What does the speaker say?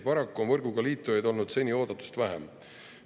Paraku on võrguga liitujaid olnud seni oodatust vähem.